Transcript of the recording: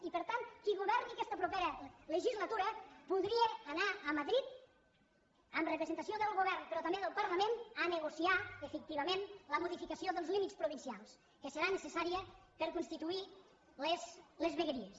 i per tant qui governi aquesta propera legislatura podria anar a madrid en representació del govern però també del parlament a negociar efectivament la modificació dels límits provincials que serà necessària per constituir les vegueries